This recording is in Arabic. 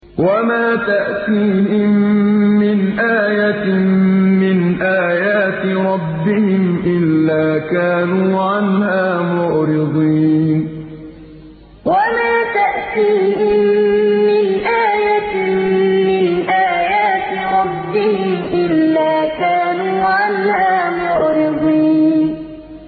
وَمَا تَأْتِيهِم مِّنْ آيَةٍ مِّنْ آيَاتِ رَبِّهِمْ إِلَّا كَانُوا عَنْهَا مُعْرِضِينَ وَمَا تَأْتِيهِم مِّنْ آيَةٍ مِّنْ آيَاتِ رَبِّهِمْ إِلَّا كَانُوا عَنْهَا مُعْرِضِينَ